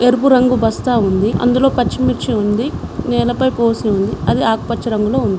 ఎరుపు రంగు బస్తా ఉంది అందులో పచ్చిమిర్చి ఉంది నేలపై పోసి ఉంది అది ఆకుపచ్చ రంగులో ఉంది.